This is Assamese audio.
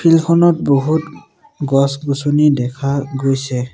এইখনত বহুত গছ-গছনি দেখা গৈছে।